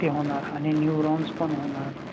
ते होणार आणि neurons पण होणार.